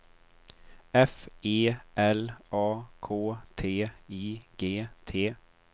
F E L A K T I G T